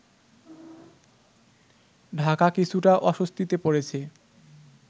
ঢাকা কিছুটা অস্বস্তিতে পড়েছে